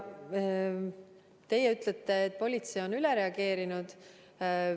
Teie ütlete, et politsei on üle reageerinud.